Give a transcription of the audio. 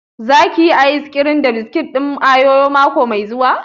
Za ki yi ayis kirim da biskit ɗin oriyo mako mai zuwa?